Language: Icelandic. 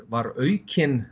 var aukin